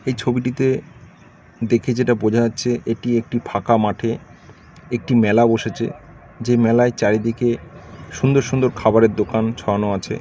এই ছবিটিতে দেখে যেটা বোঝা যাচ্ছে এটি একটি ফাঁকা মাঠে একটি মেলা বসেছে। যে মেলায় চারিদিকে সুন্দর সুন্দর খাবারের দোকান ছড়ানো আছে।